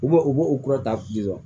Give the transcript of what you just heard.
U b'u u b'u kura ta